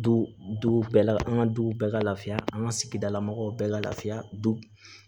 Du duw bɛɛ la an ka duw bɛɛ ka lafiya an ka sigidala mɔgɔw bɛɛ ka lafiya du